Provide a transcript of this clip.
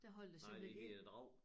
Nej det hedder æ Drag